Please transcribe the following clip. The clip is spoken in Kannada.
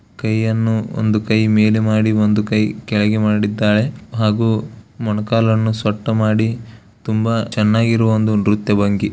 ಕೈಯನ್ನು ಒಂದು ಕೈ ಮೇಲೆ ಮಾಡಿ ಒಂದು ಕೈ ಕೆಳಗೆ ಮಾಡಿ ದ್ದಾಳೆ ಹಾಗು ಮೊಳಕಾಲನ್ನು ಸೊಟ್ಟ ಮಾಡಿದ್ದಾಳೆ ತುಂಬಾ ಚೆನ್ನಾಗಿರುವ ಒಂದು ನೃತ್ಯವಾಗಿ__